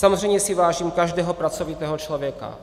Samozřejmě si vážím každého pracovitého člověka.